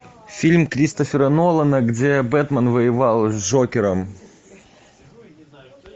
фильм кристофера нолана где бэтмен воевал с джокером